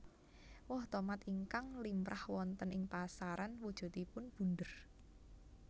Woh tomat ingkang limrah wonten ing pasaran wujudipun bunder